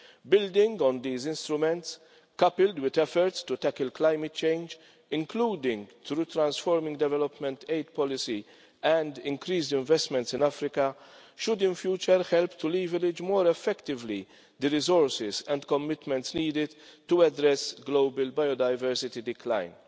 Building on these instruments, coupled with efforts to tackle climate change, including through transforming development aid policy and increased investments in Africa, should in future help to leverage more effectively the resources and commitments needed to address global biodiversity decline.